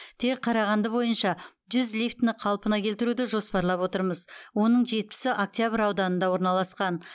тек қарағанды бойынша жүз лифтіні қалпына келтіруді жоспарлап отырмыз оның жетпісі октябрь ауданында орналасқан